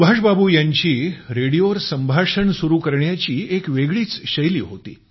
सुभाष बाबू यांची रेडिओवर संभाषण सुरु करण्याची एक वेगळीच शैली होती